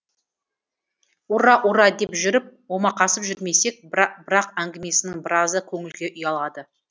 ура ура деп жүріп омақасып жүрмесек бірақ әңгімесінің біразы көңілге ұялады